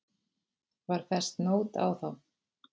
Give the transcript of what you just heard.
Var fest nót á þá.